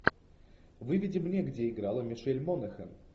выведи мне где играла мишель монахэн